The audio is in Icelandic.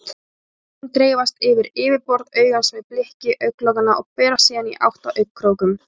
Tárin dreifast yfir yfirborð augans með blikki augnlokanna og berast síðan í átt að augnkrókum.